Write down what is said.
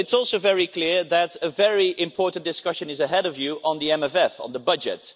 But it's also very clear that a very important discussion is ahead of you on the MFF, on the budget.